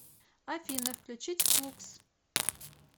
афина включить флукс